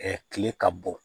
kile ka bon